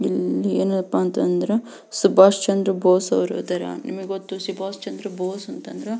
ಇಲ್ಲಿ ಏನಪ್ಪಾ ಅಂತ ಅಂದ್ರೆ ಸುಭಾಸ್ ಚಂದ್ರ ಬೋಸ್ ಅವ್ರು ಇದ್ದಾರೆ ನಿಮಗ್ ಗೊತ್ತು ಸುಭಾಸ್ ಚಂದ್ರ ಬೋಸ್ ಅಂತಂದ್ರ --